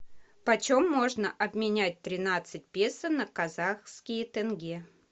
почем можно обменять тринадцать песо на казахские тенге